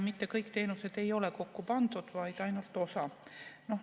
Mitte kõik teenused ei ole kokku pandud, vaid ainult osa.